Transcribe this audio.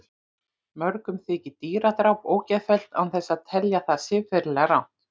Mörgum þykir dýradráp ógeðfellt án þess að telja það siðferðilega rangt.